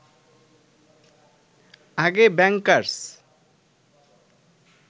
আগে ব্যাংকার্স